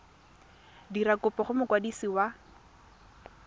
dira kopo go mokwadisi wa